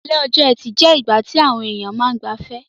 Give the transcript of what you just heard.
Ìrọ̀lẹ́ ọjọ́-ẹtì je ìgbà ti àwon èyàn ma n gbafẹ́